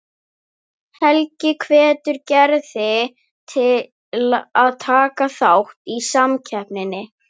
Helgi hvetur Gerði til að taka þátt í samkeppninni.